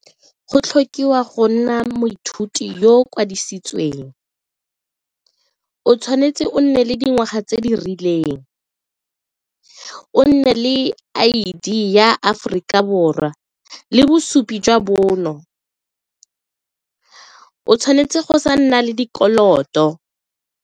Go tlhokiwang go nna moithuti yo o kwadisitsweng, o tshwanetse o nne le dingwaga tse di rileng, o nne le I_D ya Aforika Borwa le bosupi jwa bonno, o tshwanetse go sa nna le dikoloto.